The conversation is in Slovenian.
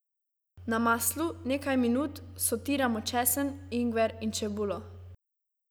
Na maslu, nekaj minut, sotiramo česen, ingver in čebulo.